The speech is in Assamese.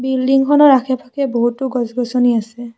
বিল্ডিংখনৰ আশে পাশে বহুতো গছ গছনি আছে।